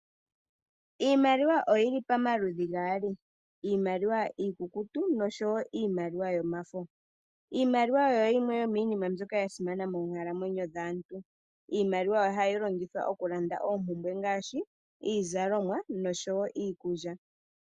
Iimaliwa oyili pomaludhi gaali mbyoka iikukutu noshowo yomafo. Iimaliwa oyo yimwe yo miinima mbyoka ya simana moonkalamwenyo dhaantu, iimaliwa ohayi longithwa okulanda oompumbwe ngaashi iizalomwa noshowo iikulya.